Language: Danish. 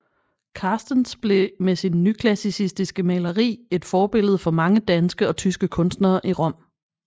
Carstens blev med sit nyklassicistiske maleri et forbillede for mange danske og tyske kunstnere i Rom